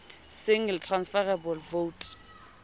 single transferable vote